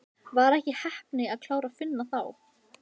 Var ekki heppni að klára Finna þá?